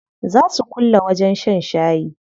Zaa su kulle wajen shan shayi.